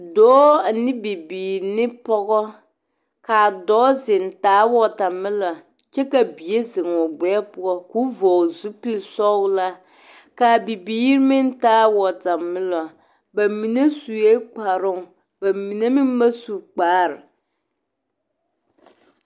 Dɔɔ ane bibiiri ane pɔgɔ ka a dɔɔ zeŋ taa wɔtamɛlo kyɛ ka bie zeŋ o gbɛɛ poɔ k'o vɔgle zupili sɔglaa ka a bibiiri meŋ taa wɔtamɛlo ba mine zue kparoo ba mine meŋ ba zu kpaare.